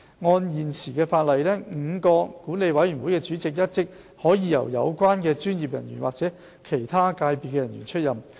按現行的法例 ，5 個管理委員會的主席一職可由有關專業人員或其他界別人員出任。